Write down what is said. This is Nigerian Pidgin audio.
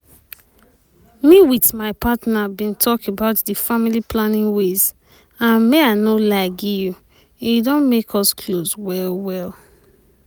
me wit my partner bin talk about di family planning ways and may i no lie gi you e don make us close well well.